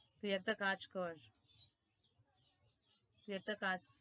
তুই একটা কাজ কর তুই একটা কাজ